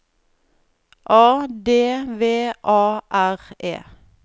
A D V A R E